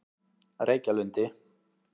Reykjalundi